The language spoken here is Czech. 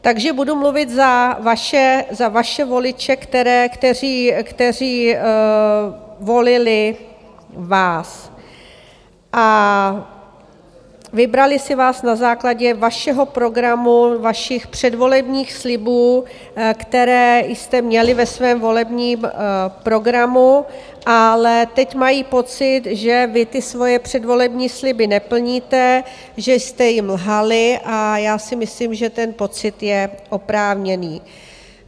Takže budu mluvit za vaše voliče, kteří volili vás a vybrali si vás na základě vašeho programu, vašich předvolebních slibů, které jste měli ve svém volebním programu, ale teď mají pocit, že vy ty svoje předvolební sliby neplníte, že jste jim lhali a já si myslím, že ten pocit je oprávněný.